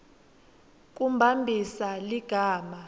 kumbambisa ligama